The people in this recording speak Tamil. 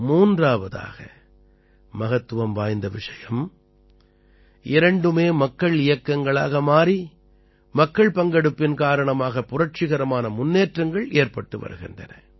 மூன்றாவதாக மகத்துவம் வாய்ந்த விஷயம் இரண்டுமே மக்கள் இயக்கங்களாக மாறி மக்கள் பங்கெடுப்பின் காரணமாக புரட்சிகரமான முன்னேற்றங்கள் ஏற்பட்டு வருகின்றன